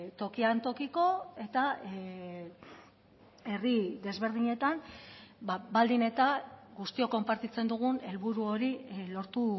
tokian tokiko eta herri desberdinetan baldin eta guztiok konpartitzen dugun helburu hori lortu